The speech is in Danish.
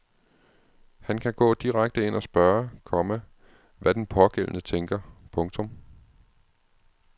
Han kan gå direkte ind og spørge, komma hvad den pågældende tænker. punktum